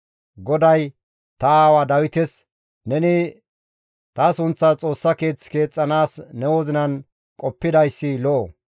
GODAY ta aawaa Dawites, ‹Neni ta sunththas Xoossa Keeth keexxanaas ne wozinan qoppidayssi lo7o;